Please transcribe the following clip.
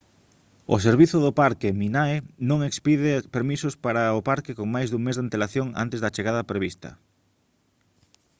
o servizo do parque minae non expide permisos para o parque con máis dun mes de antelación antes da chegada prevista